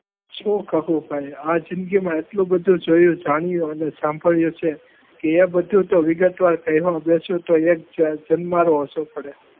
શું કહું ભાઈ આ જિંદગીમાં એટલું બધું જોયું જાણ્યું અને સાંભળ્યું છે કે એ બધું તો વિગતવાર કહેવા બેસો તો એક જન્મારો ઓછો પડે.